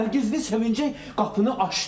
Nərgizdir sevinəcək qapını açdım.